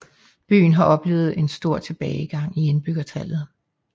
Byen har oplevet en stor tilbagegang i indbyggertallet